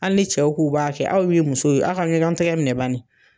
Hali ni cɛw k'u b'a kɛ aw mun ye musow ye aw ka ɲɔgɔn tigɛ minɛ baɲi